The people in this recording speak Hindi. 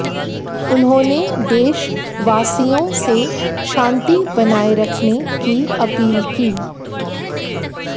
उन्होंने देशवासियों से शांति बनाए रखने की अपील की